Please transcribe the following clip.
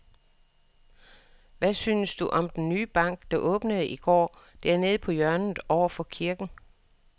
Hvad synes du om den nye bank, der åbnede i går dernede på hjørnet over for kirken?